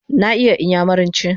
Na iya iyamuranchi ma